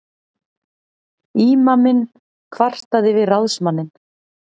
Ímaminn kvartaði við ráðsmanninn.